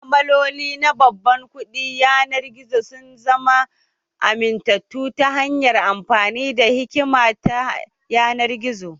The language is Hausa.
Ma'amaloli na babban kuɗin yanar gizo sun zama amintattu ta hanyar amfani da hikima ta yanar gizo